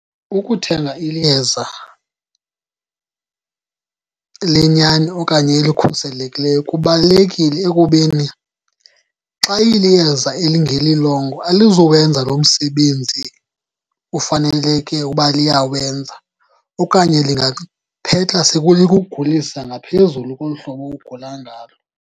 Ukuthenga iyeza lenyani okanye elikhuselekileyo kubalulekile ekubeni xa iliyeza elingelilongo alizuwenza lo msebenzi ufaneleke uba liyawenza, okanye lingaphetha sekulikugulisa ngaphezulu kolu hlobo ugula ngalo.